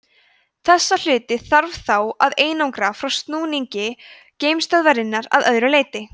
þessa hluti þarf þá að einangra frá snúningi geimstöðvarinnar að öðru leyti